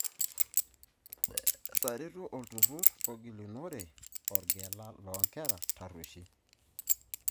Etaretuo Olturrur agilunore orgela loo nkera tarrueshi.